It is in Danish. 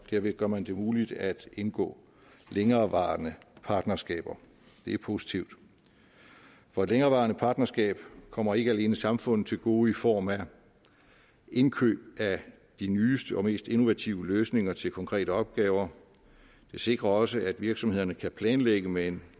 derved gør man det muligt at indgå længerevarende partnerskaber det er positivt for et længerevarende partnerskab kommer ikke alene samfundet til gode i form af indkøb af de nyeste og mest innovative løsninger til konkrete opgaver det sikrer også at virksomhederne kan planlægge med